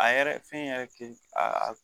A yɛrɛ fɛn yɛrɛ ke a